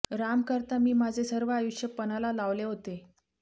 राम करता मी माझे सर्व आयुष्य पणाला लावले होते